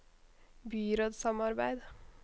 byrådssamarbeid